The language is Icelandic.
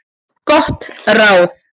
Gott ráð